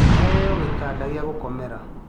Aheo gĩtanda gĩa gũkomera.